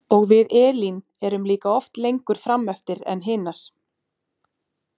Og við Elín erum líka oft lengur frameftir en hinar.